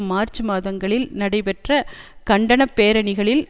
March மாதங்களில் நடைபெற்ற கண்டன பேரணிகளில்